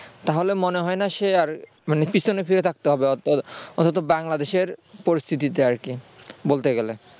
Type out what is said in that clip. তাহলে মনে হয় না সে আর মানে পেছনে ফিরে থাকতে হবে অন্তত বাংলা দেশের পরিস্থিতিতে আর কি বলতে গেলে